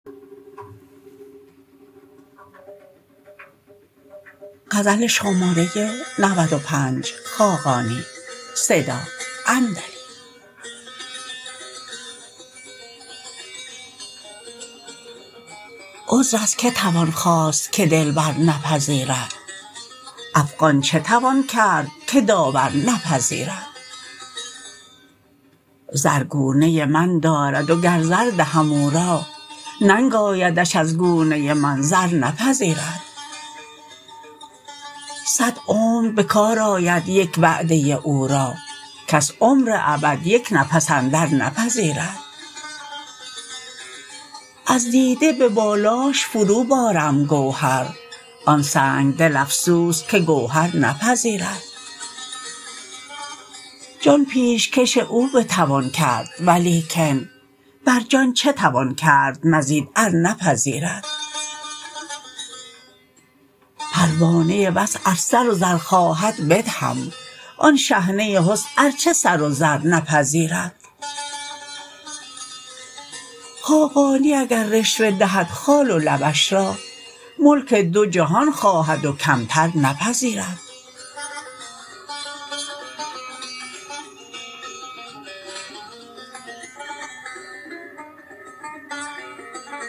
عذر از که توان خواست که دلبر نپذیرد افغان چه توان کرد که داور نپذیرد زر گونه من دارد و گر زر دهم او را ننگ آیدش از گونه من زر نپذیرد صد عمر به کار آید یک وعده او را کس عمر ابد یک نفس اندر نپذیرد از دیده به بالاش فرو بارم گوهر آن سنگ دل افسوس که گوهر نپذیرد جان پیش کش او بتوان کرد ولیکن بر جان چه توان کرد مزید ار نپذیرد پروانه وصل ار سر و زر خواهد بدهم آن شحنه حسن ارچه سر و زر نپذیرد خاقانی اگر رشوه دهد خال و لبش را ملک دو جهان خواهد و کمتر نپذیرد